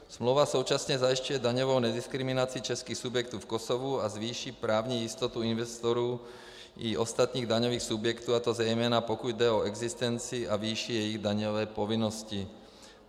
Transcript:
Smlouva současně zajišťuje daňovou nediskriminaci českých subjektů v Kosovu a zvýší právní jistotu investorů i ostatních daňových subjektů, a to zejména pokud jde o existenci a výši jejich daňové povinnosti.